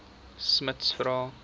smuts vra